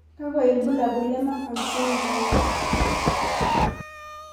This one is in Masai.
Kakwa ibulabul le Marfan syndome?